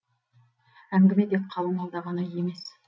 әңгіме тек қалыңмалда ғана емес